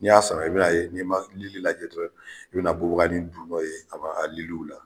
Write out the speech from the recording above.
Ni y'a sɔrɔ i bina ye n'i ma lili lajɛ dɔrɔn i bina bubganin don nɔn ye a ba a liliw la